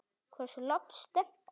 Hversu langt stefnir hún?